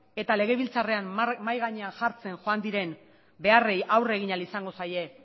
eta legebiltzarrean mahai gainean jartzen joan diren beharrei aurre egin ahal izango zaie